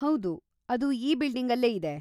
ಹೌದು, ಅದು ಈ ಬಿಲ್ಡಿಂಗಲ್ಲೇ ಇದೆ.